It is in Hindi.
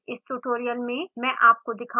इस tutorial में मैं आपको दिखाउंगी